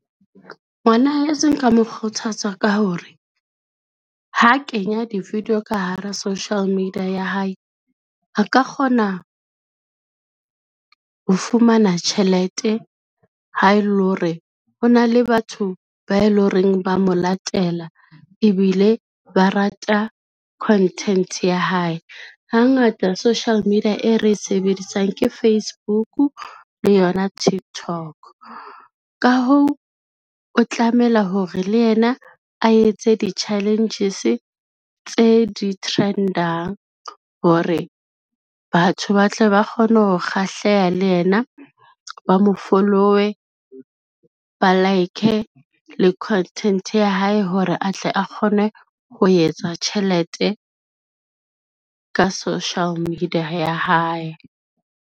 Ngwana heso nka mo kgothatsa ka hore, ho kenya di-video ka hara social media ya hae, a ka kgona ho fumana tjhelete ha e le hore ho na le batho ba e lo reng ba mo latela ebile ba rata content ya hae. Hangata social media e re e sebedisang ke Facebook le yona Tiktok, ka hoo, o tlamela hore le yena a etse di-challenges tse di trend-ang hore batho ba tle ba kgone ho kgahleha le yena, ba mo follow-e, ba like-e le content ya hae hore atle a kgone ho etsa tjhelete ka social media ya hae.